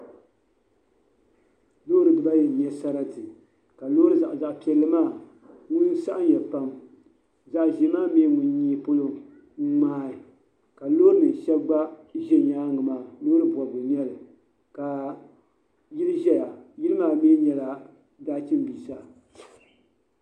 Lɔɔri bibayi n nyɛ sarati kalɔɔri zaɣipiɛlimaa ŋun saɣimiya pam zaɣizeemi ŋun mi nyee polɔ n ŋmaai kalɔɔrinim shab gba zi nyaaŋ maa. lɔɔri bɔbigu n nyɛli ka yil' zɛya yili maa mi nyala dachi biisa